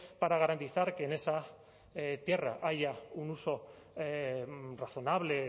para garantizar que en esa tierra haya un uso razonable